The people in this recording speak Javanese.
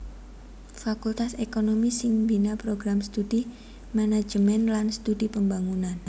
Fakultas ékonomi sing mbina Program Studi Manajemen lan Studi Pembangunan